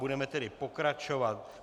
Budeme tedy pokračovat.